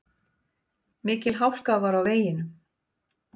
Mikil hálka var á veginum.